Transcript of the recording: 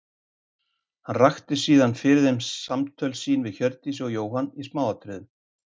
Hann rakti síðan fyrir þeim samtöl sín við Hjördísi og Jóhann í smáatriðum.